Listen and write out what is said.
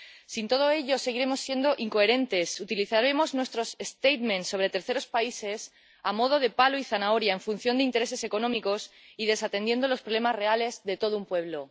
Sin todo ello, seguiremos siendo incoherentes, utilizaremos nuestras declaraciones sobre terceros países a modo de palo y zanahoria en función de intereses económicos y desatendiendo los problemas reales de todo un pueblo.